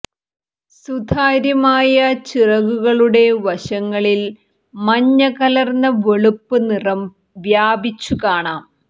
സുതാര്യമായ ചിറകുകളുടെ വശങ്ങളിൽ മഞ്ഞ കലർന്ന വെളുപ്പ് നിറം വ്യാപിച്ചു കാണാം